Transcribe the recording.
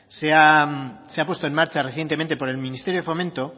se ha puesto en marcha recientemente por el ministerio de fomento